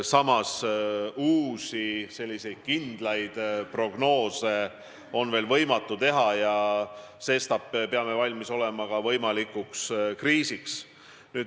Samas, uusi kindlaid prognoose on veel võimatu teha ja sestap peame valmis olema võimalikuks kriisiks.